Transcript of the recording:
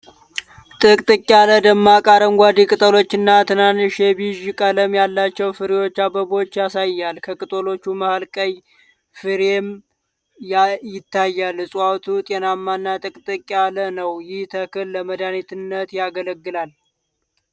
ጥቅጥቅ ያለ፣ ደማቅ አረንጓዴ ቅጠሎችና ትናንሽ የቢዥ ቀለም ያላቸው ፍሬዎች/አበቦች ያሳያል። ከቅጠሎቹ መሃል ቀይ ፍሬም ይታያል። ዕፅዋቱ ጤናማና ጥቅጥቅ ያለ ነው። ይህ ተክል ለመድኃኒትነት ያገለግላል?